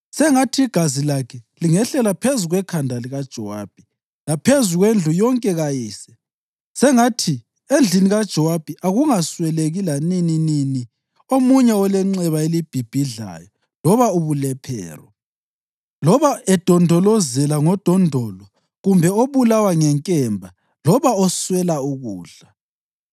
Sengathi igazi lakhe lingehlela phezu kwekhanda likaJowabi laphezu kwendlu yonke kayise. Sengathi endlini kaJowabi akungasweleki lanininini omunye olenxeba elibhibhidlayo loba ubulephero, loba edondolozela ngodondolo kumbe obulawa ngenkemba loba oswela ukudla.”